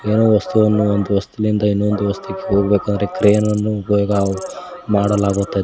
ಏನೋ ವಸ್ತುವನ್ನು ಒಂದು ವಸ್ತುಲಿಂದ ಇನ್ನೊಂದು ವಸ್ತಕ್ಕೆ ಹೋಗಬೇಕಂದ್ರೆ ಅಂದ್ರೆ ಕ್ರೆನನ್ನು ಉಪಯೋಗ ಮಾಡಲಾಗುತ್ತದೆ.